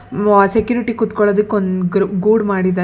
ಮ್ಮ್-- ಆ ಸೆಕ್ಯೂರಿಟಿ ಕೂತ್ಕೊಳ್ಳೋದಕ್ಕೆ ಒಂದು ಗ್ರು ಗೂಡ್ ಮಾಡಿದಾರೆ.